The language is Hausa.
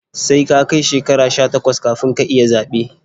Sai ka kai shekara sha takwas kafin ka iya zaɓe